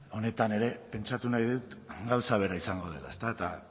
honetan ere pentsatu nahi dut gauza bera izango dela ezta eta